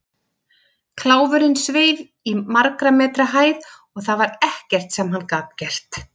Kláfurinn sveif í margra metra hæð og það var ekkert sem hann gat gert.